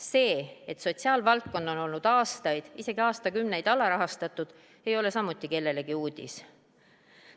See, et sotsiaalvaldkond on olnud aastaid, isegi aastakümneid alarahastatud, ei ole samuti kellelegi uudis.